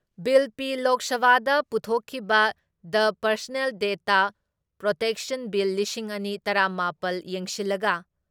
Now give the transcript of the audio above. bill ꯄꯤ ꯂꯣꯛ ꯁꯚꯥꯗ ꯄꯨꯊꯣꯛꯈꯤꯕ the personal data protection bill ꯂꯤꯁꯤꯡ ꯑꯅꯤ ꯇꯔꯥ ꯃꯥꯄꯜ ꯌꯦꯡꯁꯤꯜꯂꯒ